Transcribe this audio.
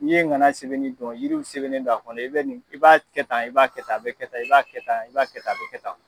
N'i ye ŋana sɛbɛnni dɔn yiriw sɛbɛnnen do a kɔnɔ i bɛ nin i b'a kɛ tan i b'a kɛ tan a bɛ kɛ tan i b'a kɛ tan i b'a kɛ tan a bɛ kɛ tan.